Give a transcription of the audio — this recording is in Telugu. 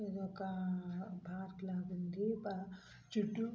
ఇదొక ఒక పార్క్ లాగుంది పా చుట్టూ --